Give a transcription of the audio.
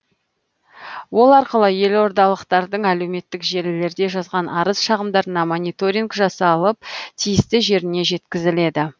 ол арқылы елордалықтардың әлеуметтік желілерде жазған арыз шағымдарына мониторинг жасалып тиісті жеріне жеткізіледі